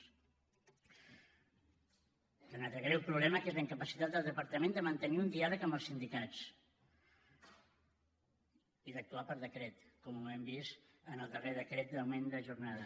hi ha un altre greu problema que és la incapacitat del departament de mantenir un diàleg amb els sindicats i d’actuar per decret com ho hem vist en el darrer decret d’augment de jornada